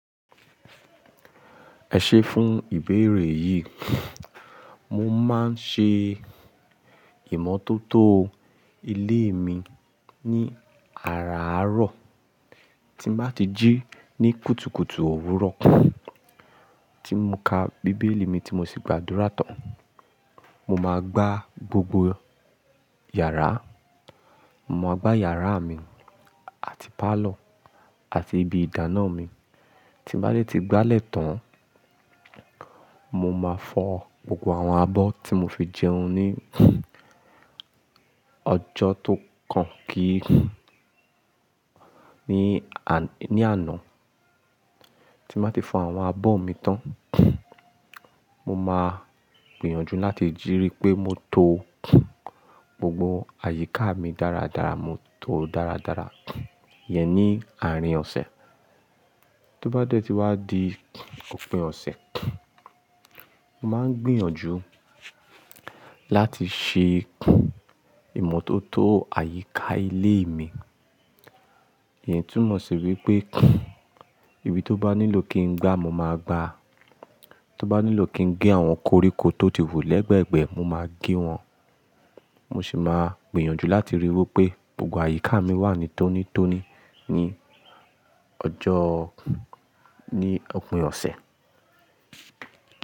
Ẹ ṣé fún ìbéèrè yìí. Mo máa ń ṣe ìmọ́tótó ilé mi ní àràárọ̀. Tí n bá ti jí ní kùtùkùtù òwúrọ̀ tí mo ka Bíbélì mi tí mo sì gba àdúrà tán, mo máa gbá gbogbo yàrá. Mo máa gbá yàrá mi àti pálọ̀ àti ibi ìdáná mi. Tí n bá dẹ ti gbá lẹ̀ tán, mo máa fọ gbogbo àwọn abọ́ tí mo fi jẹun ní ọjọ́ tó kàn kí i ní àná. Tí n bá ti fọ àwọn abọ́ mi tán, mo máa gbìyànjú láti jí rí pé mo to gbogbo àyíká mi dáradára, mo to dáradára. Yẹn ní àárín ọ̀sẹ̀. To bá dé tí wá di òpin ọ̀sẹ̀, mo máa ń gbìyànjú láti ṣe ìmọ́tótó àyíká ilé mi. Ìyẹn túmọ̀ sí wípé ibi tó bá nílò kí n gbá mo máa gbá. Tó bá nílò kí n gé àwọn koríko tó ti wù lẹ́gbẹ̀gbẹ́, mo máa gé wọn. Mo sì máa gbìyànjú láti ríi wí pé gbogbo àyíká mi wà ní tónítóní ní ọjọ́, ní òpin ọ̀sẹ̀.